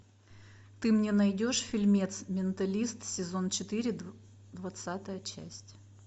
ты мне найдешь фильмец менталист сезон четыре двадцатая часть